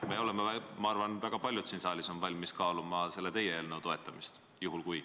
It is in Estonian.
Ma arvan, väga paljud siin saalis on valmis kaaluma teie eelnõu toetamist, juhul kui ...